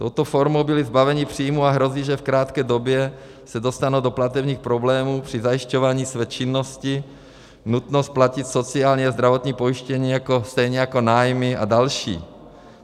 Touto formou byli zbaveni příjmů a hrozí, že v krátké době se dostanou do platebních problémů při zajišťování své činnosti, nutnost platit sociální a zdravotní pojištění, stejně jako nájmy a další.